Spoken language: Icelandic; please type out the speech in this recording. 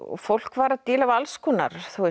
fólk var að díla við alls konar